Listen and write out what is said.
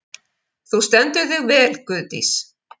Þú stendur þig vel, Guðdís!